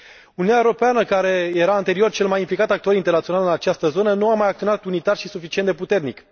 Uniunea Europeană, care era anterior cel mai implicat actor internațional în această zonă nu a mai acționat unitar și suficient de puternic.